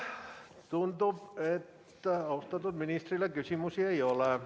Tundub, et austatud ministrile küsimusi ei ole.